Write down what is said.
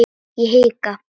Ég hika.